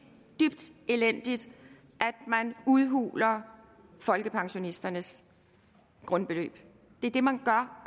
dybt elendigt at man udhuler folkepensionisternes grundbeløb det er det man gør